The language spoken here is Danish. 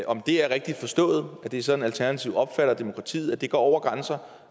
om det er rigtigt forstået at det er sådan alternativet opfatter demokratiet at det går over grænser